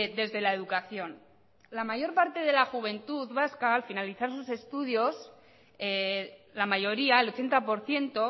desde la educación la mayor parte de la juventud vasca al finalizar sus estudios la mayoría el ochenta por ciento